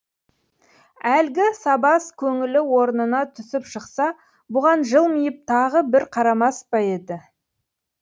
әлгі сабаз көңілі орнына түсіп шықса бұған жылмиып тағы бір қарамас па еді